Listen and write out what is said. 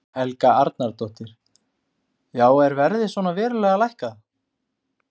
Helga Arnardóttir: Já er verðið svona verulega lækkað?